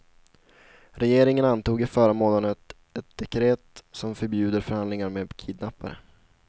Regeringen antog i förra månaden ett dekret som förbjuder förhandlingar med kidnappare.